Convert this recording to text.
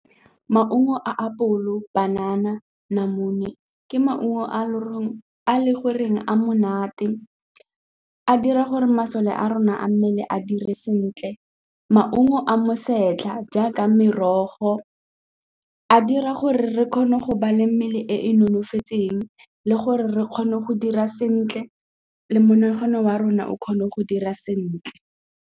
Maungo a apolo, banana, namune ke maungo a loreng a le goreng a monate a dira gore masole a rona a mmele a dire sentle. Maungo a a setlha jaaka merogo a dira gore re kgone go ba le mmele e nonofileng le gore re kgone go dira sentle le monagano wa rona o kgone go dira sentle.